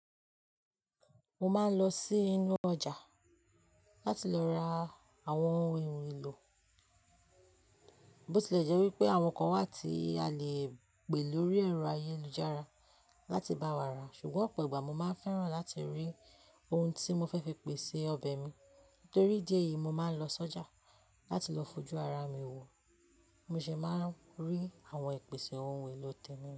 Mo máa ń lọ sí inú ọjà láti lọ ra àwọn ohun èlò. Botilẹjẹ́ wípé àwọn kan wà tí a lè pè lórí ẹ̀rọ ayélujára láti bá wa rà, ṣùgbọ́n ọ̀pọ̀ ìgbà mo máa ń fẹ́ràn láti rí ohun tí mo fẹ́ fi pèsè ọbẹ̀ mi. Nítorí díẹ̀ yìí mo máa ń lọ sọ́jà láti lọ fojú ara mi wò, mo sì máa ń rí àwọn ìpèsè ohun èlò tẹ́mirán.